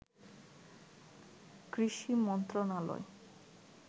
কৃষি মন্ত্রণালয়